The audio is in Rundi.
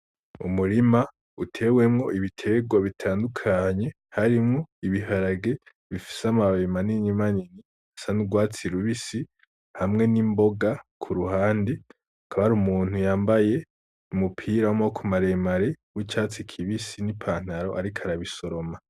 Umurima utewemwo ibitegwa bitandukanye harimwo ibiharage bifise amababi manini manini bisa n'urwatsi rubisi hamwe n'imboga ku ruhande. Hakaba hari umuntu yambaye umupira w'amaboko maremare w'icatsi kibisi n'ipantaro ariko arabisoroma.